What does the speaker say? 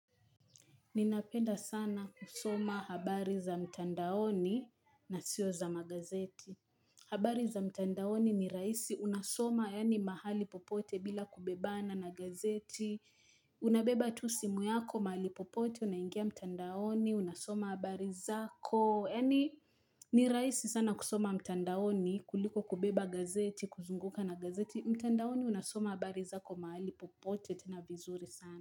Ninapenda sana kusoma habari za mtandaoni na sio za magazeti. Habari za mtandaoni ni rahisi unasoma yani mahali popote bila kubebana na gazeti. Unabeba tu simu yako mahali popote unaingia mtandaoni, unasoma habari zako. Yani ni raisi sana kusoma mtandaoni kuliko kubeba gazeti, kuzunguka na gazeti. Mtandaoni unasoma habari zako mahali popote tena vizuri sana.